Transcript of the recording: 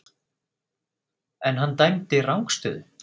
En hann dæmdi rangstöðu?